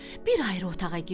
Bir ayrı otağa girdi.